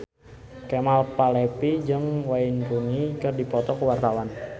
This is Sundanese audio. Kemal Palevi jeung Wayne Rooney keur dipoto ku wartawan